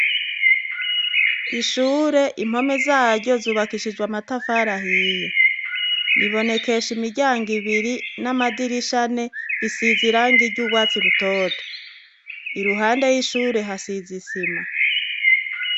Ishure impome zaryo zubakishijwe amatafari ahiye ribonekesha imiryango ibiri namadirisha ane risize irangi ryurwatsi rutoto iruhande yishure hasize isima